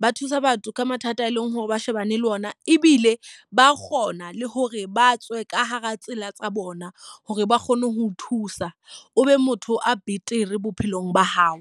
Ba thusa batho ka mathata e leng hore ba shebane le ona. Ebile ba kgona le hore ba tswe ka hara tsela tsa bona hore ba kgone ho o thusa o be motho a betere bophelong ba hao.